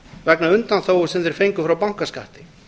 vegna undanþágu sem þeir fengu frá bankaskatti